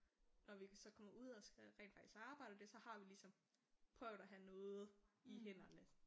Nå vi så kommer ud og skal rent faktisk arbejde og det så har vi ligesom prøvet at have noget i hænderne